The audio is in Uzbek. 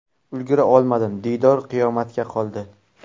Ulgura olmadim, diydor qiyomatga qoldi.